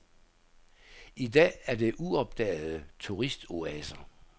I dag er det uopdagede turistoaser.